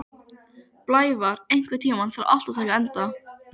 Blævar, einhvern tímann þarf allt að taka enda.